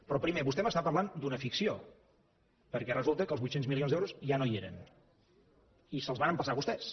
però primer vostè m’està parlant d’una ficció perquè resulta que els vuit cents milions d’euros ja no hi eren i se’ls van empassar vostès